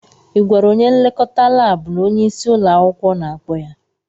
Ị gwara onye nlekọta laabụ na onyeisi ụlọ akwụkwọ na-akpọ ya?